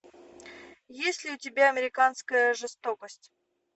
есть ли у тебя американская жестокость